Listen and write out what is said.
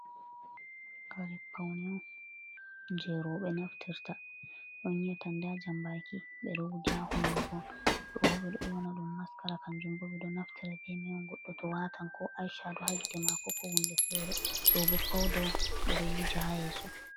Kare pawne on jey rowbe naftirta, on yi'ata ndaa "jammbaaki" ɓe ɗo wuja hunnduko. Ɗoo bo ɓe ɗo ƴowna ɗum "maskara" kannjum bo ɓe ɗo naftira bee may on goɗɗo to waatan koo "ash" ha dow ha gite maako koo huunde feere. Ɗoo bo pawda ɓe ɗo wuja ha yeeso.